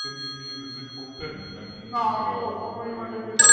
physically গিয়ে visit করতেন নাকি